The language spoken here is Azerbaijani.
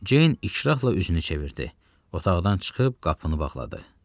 Ceyn ikrahla üzünü çevirdi, otaqdan çıxıb qapını bağladı.